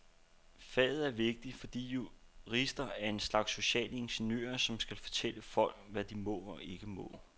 Faget er vigtigt, fordi jurister er en slags sociale ingeniører, som skal fortælle folk, hvad de må og ikke må.